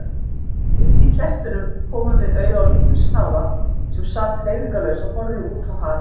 Uppí klettunum komum við auga á lítinn snáða sem sat hreyfingarlaus og horfði útá hafið.